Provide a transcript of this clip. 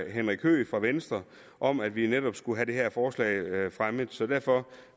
henrik høegh fra venstre om at vi netop skulle have det her forslag fremmet så derfor